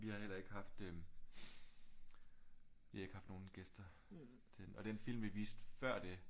Vi har heller ikke haft øh vi har ikke haft nogle gæster til den og den film vi viste før det